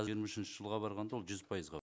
жиырма үшінші жылға барғанда ол жүз пайызға